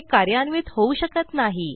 हे कार्यान्वित होऊ शकत नाही